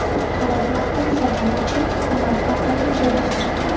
Qaror matni muhokama uchun hukumat portaliga joylashtirilgan.